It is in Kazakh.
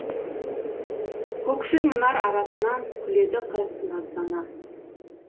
көкшіл мұнар арасынан күледі қыз наздана